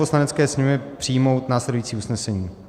Poslanecké sněmovně přijmout následující usnesení: